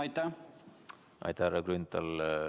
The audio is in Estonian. Aitäh, härra Grünthal!